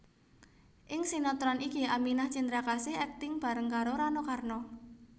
Ing sinétron iki Aminah Cendrakasih akting bareng karo Rano Karno